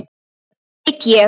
Það veit ég.